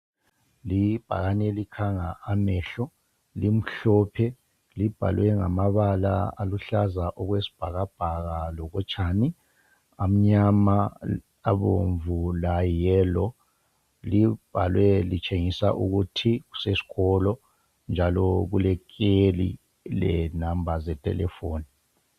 Ibhakani elikhanga amehlo limhlophe libhalwe ngamabala aluhlaza okwesibhakabhaka lokotshani amnyama, abomvu layi yellow libhalwe litshengisa ukuthi kusesikolo njalo kule kheli lenamba zethelefoni